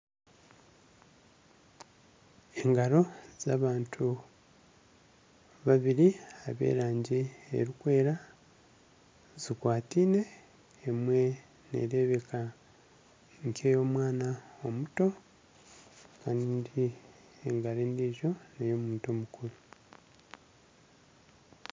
Engaro z'abantu babiri eb'erangi erikwera zikwataine emwe nereebeka nka ey'omwana omuto kandi engaro endiijo ney'omuntu mukuru.